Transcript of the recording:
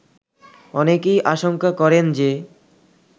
অনেকেই আশংকা করেন যে